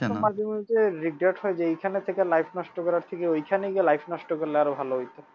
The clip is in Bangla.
মাঝেমধ্যে regret হয় যে এইখানে থেকে life নষ্ট করার থেকে ওইখানে গিয়ে life নষ্ট করলে আরো ভালো হইতো